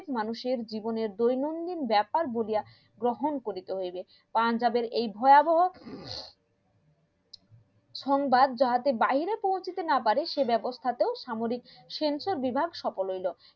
প্রত্যেক মানুষের জীবনের দৈনন্দিন ব্যাপার গ্রহণ করিতে হইবে এই ভয়াবহো সংবাদ যাহাতে বাইরে পৌঁছাতে না পারে সে ব্যবস্থা তেও সামরিক sensor বিভাগ সফল হইলো